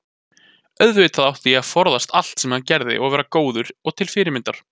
auðvitað átti ég að forðast allt sem hann gerði og vera góður og til fyrirmyndar.